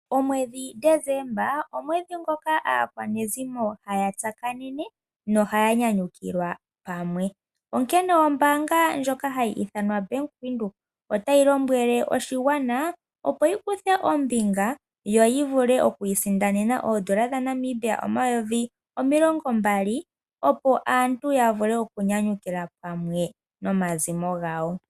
Omwedhi Desemba omwedhi ngoka aakwanezimo haya tsakanene noha ya nyanyukilwa pamwe. Onkene ombaanga ndjoka hayi ithana Bank Windhoek otayi lombwele oshigwana opo shi kuthe ombinga yo yi vule okwiisindanena oodola dhaNamibia omayovi omilongo mbali opo aantu ya vule okunyanyukilwa pamwe nomazimo gawo.